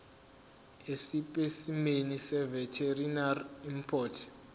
esipesimeni seveterinary import